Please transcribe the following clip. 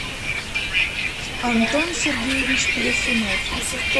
антон сергеевич плясунов